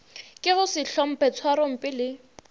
ke go sehlomphe tšhwarompe le